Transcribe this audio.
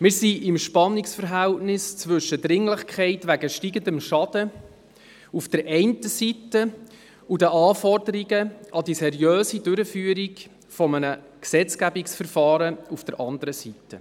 Wir sind im Spannungsverhältnis zwischen Dringlichkeit wegen steigendem Schaden auf der einen Seite und den Anforderungen an die seriöse Durchführung eines Gesetzgebungsverfahrens auf der anderen Seite.